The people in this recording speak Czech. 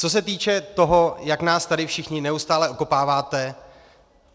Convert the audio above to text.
Co se týče toho, jak nás tady všichni neustále okopáváte.